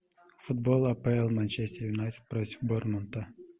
футбол апл манчестер юнайтед против борнмута